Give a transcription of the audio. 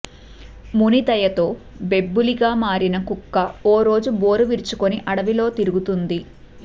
ముని దయతో బెబ్బులిలా మారిన కుక్క ఓ రోజు బోర విరుచుకుని అడవిలో తిరుగుతోంది